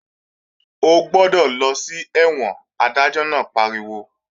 Ó gbọ́dọ̀ lọ sí ẹ̀wọ̀n! Adájọ́ náà pariwo